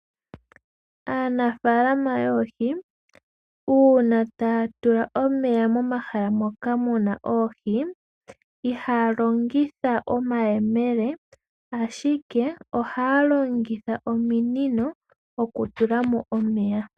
Aanafaalama yoohi, uuna taya tula omeya momahala moka muna oohi, ihaya longitha omayemele ashike ohaya longitha ominino okutulamo omeya.